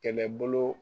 Kɛlɛbolo